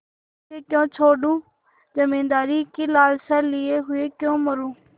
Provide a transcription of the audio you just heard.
इसे क्यों छोडूँ जमींदारी की लालसा लिये हुए क्यों मरुँ